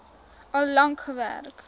al lank gewerk